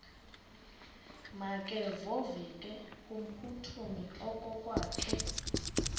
makevovike kumphuthumi okokwakhe